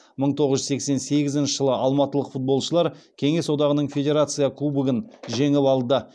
мың тоғыз жүз сексен сегізінші жылы алматылық футболшылар кеңес одағының федерация кубогын жеңіп алды